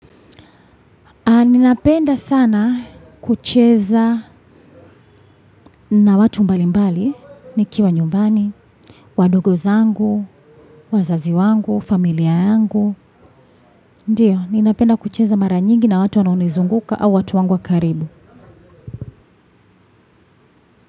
Ninapenda sana kucheza na watu mbalimbali, nikiwa nyumbani, wadogo zangu, wazazi wangu, familia yangu. Ndiyo, ninapenda kucheza mara nyingi na watu wanaonizunguka au watu wangu wa karibu.